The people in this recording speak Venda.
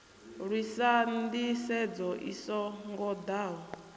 lwisa nḓisedzo i so ngoḓaho